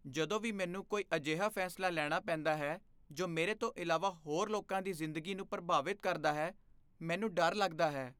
ਜਦੋਂ ਵੀ ਮੈਨੂੰ ਕੋਈ ਅਜਿਹਾ ਫੈਸਲਾ ਲੈਣਾ ਪੈਂਦਾ ਹੈ ਜੋ ਮੇਰੇ ਤੋਂ ਇਲਾਵਾ ਹੋਰ ਲੋਕਾਂ ਦੀ ਜ਼ਿੰਦਗੀ ਨੂੰ ਪ੍ਰਭਾਵਤ ਕਰਦਾ ਹੈ, ਮੈਨੂੰ ਡਰ ਲੱਗਦਾ ਹੈ।